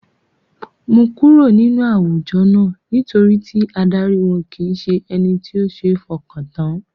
Mo kúrò nínú àwùjọ náà, nítorí tí adarí wọn kìí ṣe ẹni tí ó seé f'ọkàn tán.